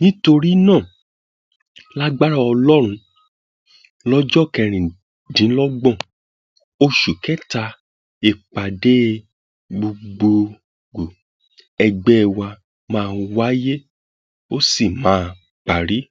torí náà lagbára ọlọrun lọjọ kẹrìndínlọgbọn oṣù kẹta ìpàdé gbọgbẹọ ẹgbẹ wa máa wáyé ó sì máa parí